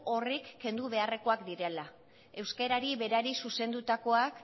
horrek kendu beharrekoak direla euskerari berari zuzendutakoak